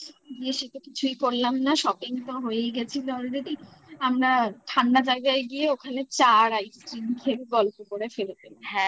গিয়ে সেটা কিছুই করলাম না shopping তো হয়েই গেছিল already আমরা ঠাণ্ডা জায়গায় গিয়ে ওখানে চা আর ice cream খেয়ে গল্প করে ফিরে এলাম